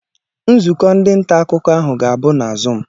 Nzukọ ndị nta akụkọ ahụ ga-abụ na zuum.